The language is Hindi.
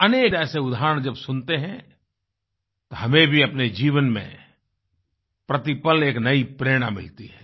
अनेकऐसे उदाहरण जब सुनते हैं तो हमें भी अपने जीवन में प्रतिपल एक नयी प्रेरणा मिलती है